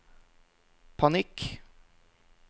panikk